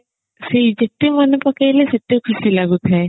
ସେଇ ଯେତେ ମାନେ ପକେଇଲେ ସେତେ ଖୁସି ଲାଗୁଥାଏ